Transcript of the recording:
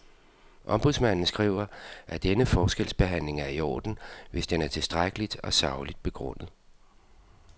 Ombudsmanden skriver, at denne forskelsbehandling er i orden, hvis den er tilstrækkeligt og sagligt begrundet.